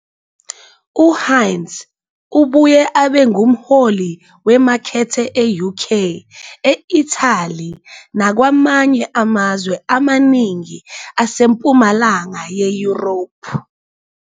UHeinz ubuye abe ngumholi wemakethe e-UK, e-Italy nakwamanye amazwe amaningi asempumalanga ye-Europe.